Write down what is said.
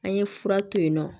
An ye fura to yen nɔ